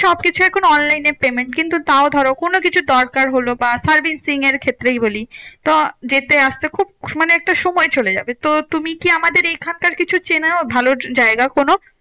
সবকিছু এখন online এ payment কিন্তু তাও ধরো কোনোকিছু দরকার হলো বা servicing এর ক্ষেত্রেই বলি। তো যেতে আসতে খুব মানে একটা সময় চলে যাবে। তো তুমি কি আমাদের এখানকার কিছু চেনো ভালো জায়গা কোনো?